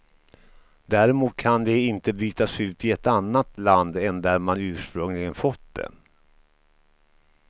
Däremot kan de inte bytas ut i ett annat land, än där man ursprungligen fått det.